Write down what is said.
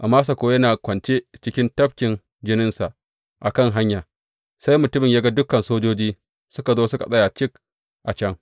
Amasa kuwa yana kwance cikin tafkin jininsa a kan hanya, sai mutumin ya ga dukan sojoji suka zo suka tsaya cik a can.